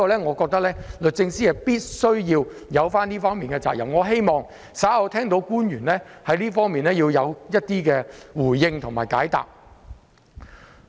我認為律政司有這方面的責任，希望稍後官員會就這方面作出回應和解答。